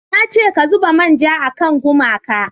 na ce ka zuba manja a kan gumaka!